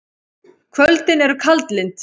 Kvöldin eru kaldlynd.